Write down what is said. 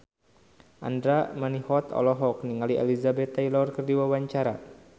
Andra Manihot olohok ningali Elizabeth Taylor keur diwawancara